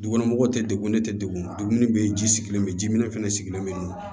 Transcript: Dugukɔnɔmɔgɔw tɛ degun ne tɛ degun degun bɛ yen ji sigilen bɛ yen ji minɛ fana sigilen bɛ